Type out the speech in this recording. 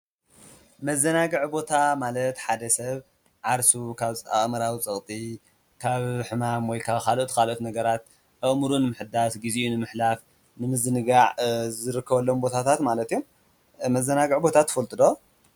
መዘናግዒ ቦታ ማለት ሓደ ሰብ ዓርሱ ካብ ኣኣምራዊ ፀቕጢ ካብ ሕማም ወይ ካዓ ኻልኦት ኻልኦት ነገራት ኣእሙርኡ ንምሕዳስ ጊዜኡ ንምሕላፍ፣ ንምዝንጋዕ ዝርከወሎም ቦታታት ማለት እዩም፡፡ መዘናግዕ ቦታ ትፈልጡ ዶ?